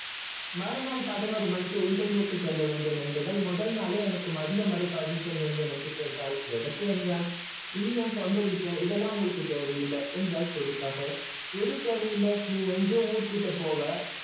மறுநாள் பதினொருமணிக்கு interview கு செல்ல வேண்டும் என்று முதல் நாளே மதியம் வரை permission வேண்டும் என்று கேட்டல் எதற்கு என்றான் இது ஏன் சொந்த விஷயம் இதலாம் உங்களுக்கு தேவை இல்லை என்று எது தேவை இல்லை நீ எங்கோ ஊரு சுத்த போன